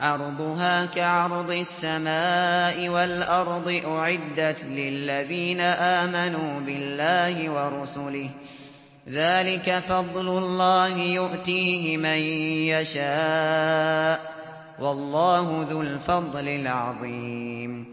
عَرْضُهَا كَعَرْضِ السَّمَاءِ وَالْأَرْضِ أُعِدَّتْ لِلَّذِينَ آمَنُوا بِاللَّهِ وَرُسُلِهِ ۚ ذَٰلِكَ فَضْلُ اللَّهِ يُؤْتِيهِ مَن يَشَاءُ ۚ وَاللَّهُ ذُو الْفَضْلِ الْعَظِيمِ